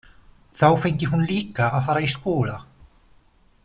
Þá fengi hún líka að fara í skóla.